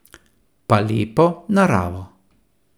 Pa lepo naravo.